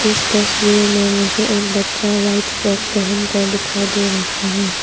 इस तस्वीर में मुझे एक बच्चा वाइट फ्रॉक पहन कर दिखाई दे रहा है।